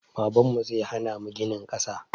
Babanmu zai hana mu ginin ƙasa